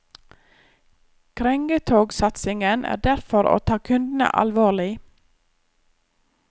Krengetogsatsingen er derfor å ta kundene alvorlig.